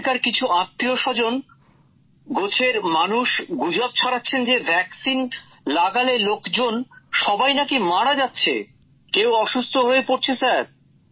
ওখানকার কিছু আত্মীয়স্বজন গোচের মানুষ গুজব ছড়াচ্ছেন যে টিকা নিলে লোকজন সবাই নাকি মারা যাচ্ছে কেউ অসুস্থ হয়ে পড়ছে স্যার